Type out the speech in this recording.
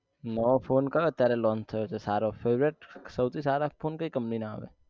નવો phone કયો અત્યારે launch થયો છે સારો favourite સોઉથી સારા phone કઈ company ના આવે